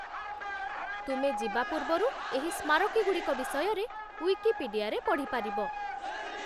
ତୁମେ ଯିବା ପୂର୍ବରୁ ଏହି ସ୍ମାରକୀଗୁଡ଼ିକ ବିଷୟରେ ଉଇକିପିଡ଼ିଆରେ ପଢ଼ିପାରିବ।